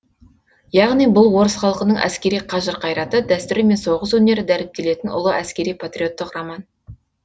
яғни бұл орыс халқының әскери қажыр қайраты дәстүрі мен соғыс өнері дәріптелетін ұлы әскери патриоттық роман